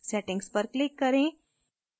settings पर click करें